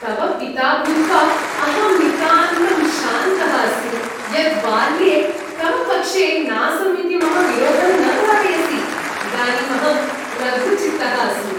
तव पिता भूत्वा अहम् नितान्तं शान्तः अस्मि यत् बाल्ये तव पक्षे नासम् इति मम विरोधं न धारयसि। इदानीम् अहं लघुचित्तः अस्मि। (पिता)